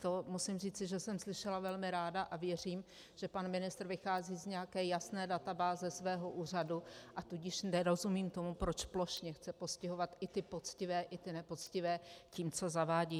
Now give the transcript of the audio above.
To musím říci, že jsem slyšela velmi ráda, a věřím, že pan ministr vychází z nějaké jasné databáze svého úřadu, a tudíž nerozumím tomu, proč plošně chce postihovat i ty poctivé i ty nepoctivé tím, co zavádí.